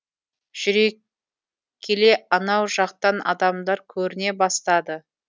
жүре келе анау жақтан адамдар көріне бастады